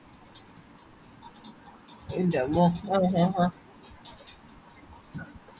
ആ ആഹ് ആഹ് ആ മറ്റേ സുബിൻ park അല്ലെ ആഹ് ആഹ്